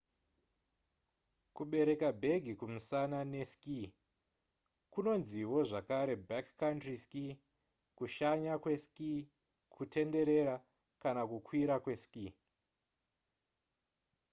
kubereka bhegi kumusana neski kunonziwo zvakare backcountry ski kushanya kweski kutenderera kana kukwira kweski